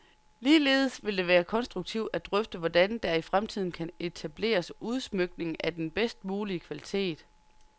Ligeledes vil det være konstruktivt at drøfte, hvordan der i fremtiden kan etableres udsmykninger af den bedst mulige kvalitet.